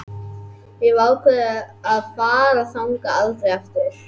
Ég hef ákveðið að fara þangað aldrei aftur.